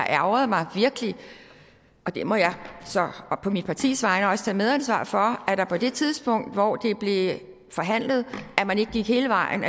ærgret mig og der må jeg så og på mit partis vegne også tage medansvar for at man på det tidspunkt hvor det blev forhandlet ikke gik hele vejen